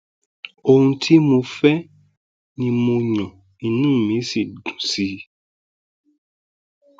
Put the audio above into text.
ohun tí mo fẹ ni mo yan inú mi sì dùn sí i